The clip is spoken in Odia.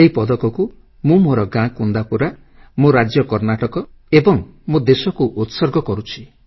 ଏହି ପଦକକୁ ମୁଁ ମୋର ଗାଁ କୁନ୍ଦାପୁରା ମୋ ରାଜ୍ୟ କର୍ଣ୍ଣାଟକ ଏବଂ ମୋ ଦେଶକୁ ଉତ୍ସର୍ଗ କରୁଛି